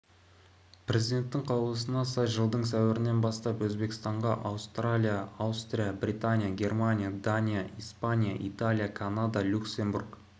президенттің қаулысына сай жылдың сәуірінен бастап өзбекстанға аустралия аустрия британия германия дания испания италия канада люксембург